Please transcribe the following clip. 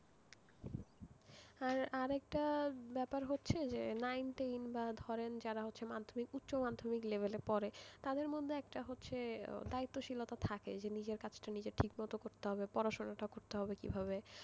আর আরেকটা ব্যাপার হচ্ছে যে নাইন টেন বা ধরেন উচ্চ মাধ্যমিক লেভেলে যারা পড়ে তাদের মধ্যে একটা দায়িত্বশীলতা থাকে যে নিজের কাজটা নিজেই ঠিকমত করতে হবে পড়াশোনা করতে হবে কিভাবে,